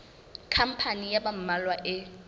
khampani ya ba mmalwa e